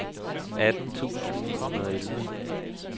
atten tusind ni hundrede og elleve